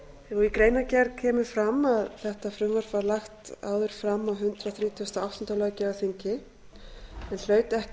í greinargerð kemur fram að þetta frumvarp var lagt áður fram á hundrað þrítugasta og áttunda löggjafarþingi en hlaut ekki